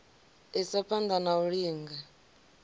isa phana na u linga